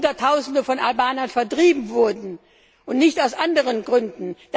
Weil Hunderttausende von Albanern vertrieben wurden und nicht aus anderen Gründen!